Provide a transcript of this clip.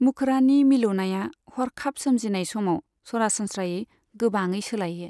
मुखड़ानि मिलौनाया हरखाब सोरजिनाय समाव सरासनस्रायै गोबाङै सोलायो।